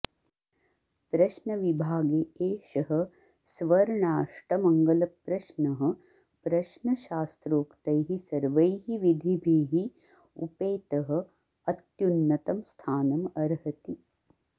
प्रश्नविभागे एषः स्वर्णाष्टमङ्गलप्रश्नः प्रश्नशास्त्रोक्तैः सर्वैः विधिभिः उपेतः अत्युन्नतं स्थानं अर्हति